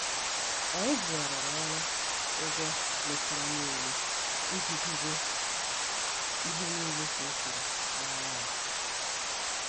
Anyị bughariri ọrụ ụgwọ metara nile iji debe ihe nile ka ọ kwuru n' anya ya.